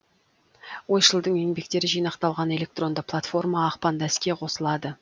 ойшылдың еңбектері жинақталған электронды платформа ақпанда іске қосылады